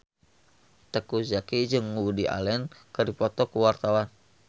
Teuku Zacky jeung Woody Allen keur dipoto ku wartawan